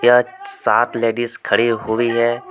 यह सात लेडिस खड़ी हुई है।